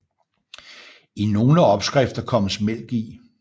I nogle opskrifter kommes mælk i